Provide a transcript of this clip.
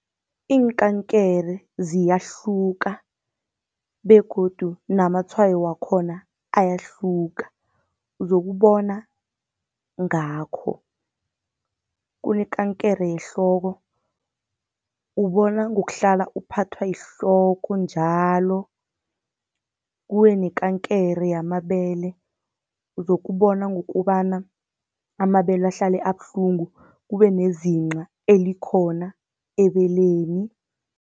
Iinkankere ziyahluka begodu namatshwayo wakhona ayahluka, uzokubona ngakho. Kunekankere yehloko, ubona ngokuhlala uphathwa yihloko njalo. Kube nekankere yamabele, uzokubona ngokobana amabele ahlale abuhlungu kube nezinqa elikhona ebeleni.